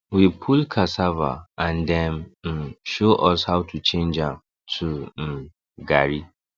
we pull cassava and dem um show us how to change am to um garri